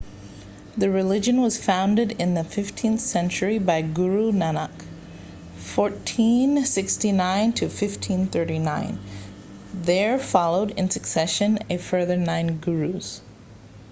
the religion was founded in the 15th century by guru nanak 1469–1539. there followed in succession a further nine gurus